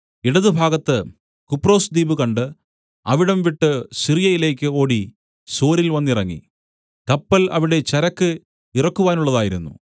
ഇടതുഭാഗത്ത് കുപ്രോസ് ദ്വീപ് കണ്ട് അവിടംവിട്ട് സിറിയയിലേക്ക് ഓടി സോരിൽ വന്നിറങ്ങി കപ്പൽ അവിടെ ചരക്ക് ഇറക്കുവാനുള്ളതായിരുന്നു